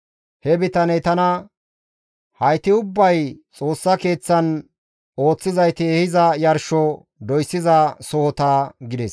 He bitaney tana, «Hayti ubbay Xoossa Keeththan ooththizayti ehiza yarsho doyssiza sohota» gides.